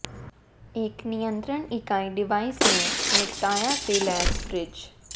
एक नियंत्रण इकाई डिवाइस में निपटाया से लैस फ्रिज